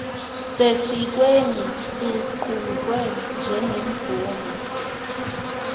sesikweni luqukwe njengemvume